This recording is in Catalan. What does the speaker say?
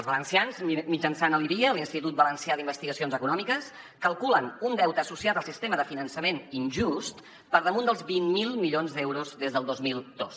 els valencians mitjançant l’ivie l’institut valencià d’investigacions econòmiques calculen un deute associat al sistema de finançament injust per damunt dels vint miler milions d’euros des del dos mil dos